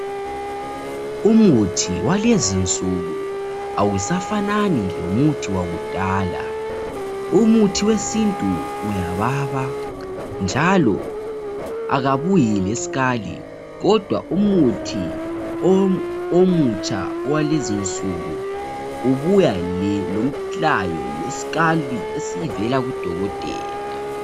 Umuthi walezinsuku awusafanani lomuthi wakudala. Umuthi wesintu uyababa njalo akabuyi leskali kodwa umuthi omutsha owalezinsuku ubuya lomlayo leskali esivela kudokotela.